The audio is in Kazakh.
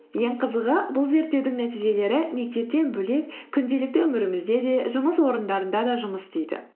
ең қызығы бұл зерттеудің нәтижелері мектептен бөлек күнделікті өмірімізде де жұмыс орындарында да жұмыс істейді